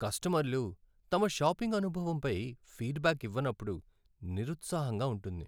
కస్టమర్లు తమ షాపింగ్ అనుభవంపై ఫీడ్బ్యాక్ ఇవ్వనప్పుడు నిరుత్సాహంగా ఉంటుంది.